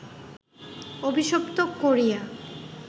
অভিশপ্ত করিয়া